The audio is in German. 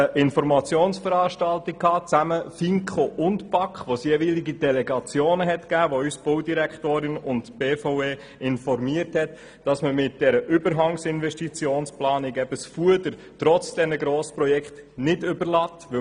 Delegationen der FiKo und die BaK nahmen an einer gemeinsamen Informationsveranstaltung teil, anlässlich derer uns die Baudirektorin und die BVE informierten, dass mit der Überhangsinvestitionsplanung das Fuder trotz der Grossprojekte nicht überladen wird.